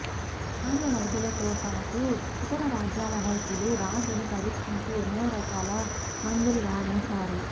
రాజవైద్యులతోపాటు ఇతర రాజ్యాల వైద్యులూ రాజును పరీక్షించి ఎన్నో రకాల మందులు వాడించారు